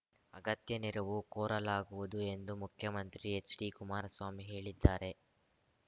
ಅಗತ್ಯ ನೆರವು ಕೋರಲಾಗುವುದು ಎಂದು ಮುಖ್ಯಮಂತ್ರಿ ಎಚ್‌ಡಿಕುಮಾರಸ್ವಾಮಿ ಹೇಳಿದ್ದಾರೆ